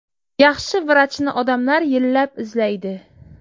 Yaxshi vrachni odamlar yillab izlaydi.